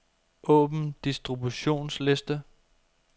Åbn distributionsliste.